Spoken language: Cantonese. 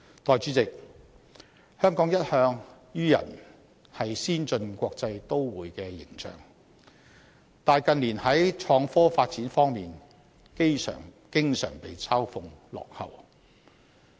代理主席，香港一向予人先進國際都會的形象，但近年創科發展方面經常被嘲諷落後。